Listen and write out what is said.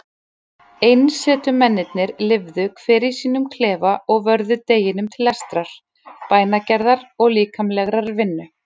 Einsetumennirnir lifðu hver í sínum klefa og vörðu deginum til lestrar, bænagerðar og líkamlegrar vinnu.